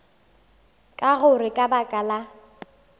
ka gore ka baka la